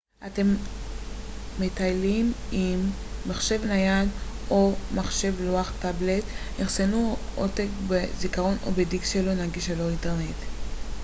אם אתם מטיילים עם מחשב נייד או מחשב לוח טאבלט אחסנו עותק בזיכרון או בדיסק שלו נגיש ללא אינטרנט